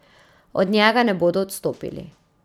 Od njega ne bodo odstopili.